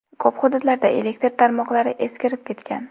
Ko‘p hududlarda elektr tarmoqlari eskirib ketgan.